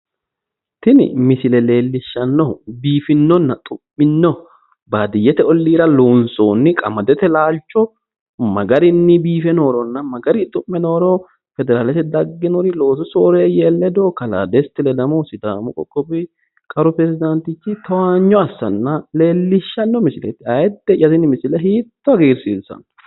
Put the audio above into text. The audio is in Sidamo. Tini misile leellishshannohu biifinonna xu'mino baadiyyete ollira loonsoonni qamadete laalcho magarinni biife nooronna ma garinni xu'me nooro federaalete daggino loosu soreeyye ledo kalaa desita ledamohu sidaamu qoqowi qaru mootichi towaanyo assanna leellishshanno misileeti, ayyide'ya tini misile hiitto hagiirsiissanno.